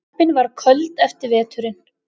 Klöppin var köld eftir veturinn.